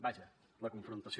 vaja la confrontació